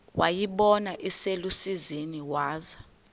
wayibona iselusizini waza